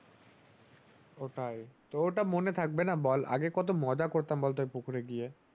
ওটাই তো তা মনে থাকবে না বল আগে কত মজা করতাম ওই পুকুরে গিয়ে